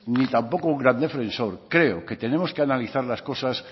ni tampoco un gran defensor creo que tenemos que analizar las cosas